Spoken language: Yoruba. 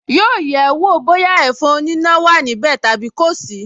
Yóò yẹ̀ ẹ́ wọ̀ bóyá ẹ̀fọn oníná wà níbẹ̀ tàbí kò sí